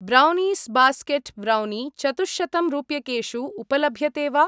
Brownies basket brownie चतुश्शतं रूप्यकेषु उपलभ्यते वा?